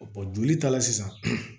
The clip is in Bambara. joli ta la sisan